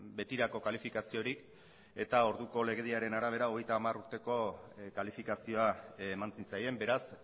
betirako kalifikaziorik eta orduko legediaren arabera hogeita hamar urteko kalifikazioa eman zitzaien beraz